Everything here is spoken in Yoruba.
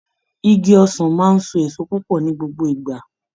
Igi ọsàn wa ń so èso púpọ̀ ní gbogbo ìgbà